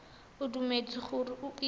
o dumetse gore o itse